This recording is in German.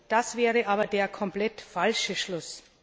Das wäre aber der komplett falsche Schluss!